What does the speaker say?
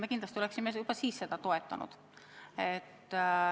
Me kindlasti oleksime ka siis seda toetanud.